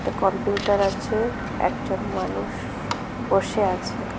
Computer আছে একজন মানুষ বসে আছে।